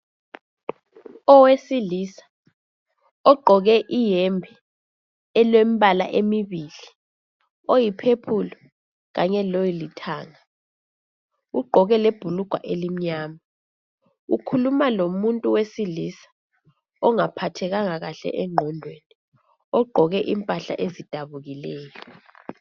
Owesilisa ogqoke iyembe elembala emibili, oyiphephulu kanye lolithanga ugqoke lebhulugwa elimnyama. Ukhuluma lomuntu wesilisa ongaphathekanga kuhle engqondweni ogqoke impahla ezidabukileyo.